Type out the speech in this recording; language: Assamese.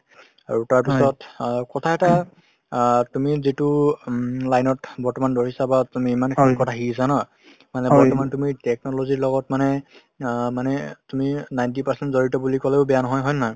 আৰু তাৰ পিছত কথা এটা অ তুমি যিটো উ line ত বৰ্তমান ধৰিছা বা তুমি মানে আহি আছা ন । মানে বৰ্তমান তুমি technology ৰ লগত মানে অ মানে তুমি ninety percent জড়িত বুলি কলেও বেয়া নহয় । হয় নে নহয়?